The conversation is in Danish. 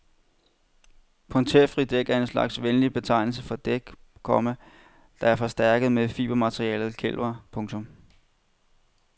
Punkterfri dæk er en slags venlig betegnelse for dæk, komma der er forstærket med fibermaterialet kevlar. punktum